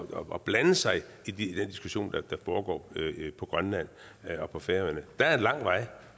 og blande sig i den diskussion der foregår på grønland og på færøerne er der en lang vej